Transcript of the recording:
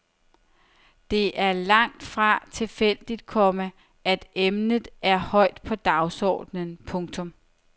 Det er langt fra tilfældigt, komma at emnet er højt på dagsordenen. punktum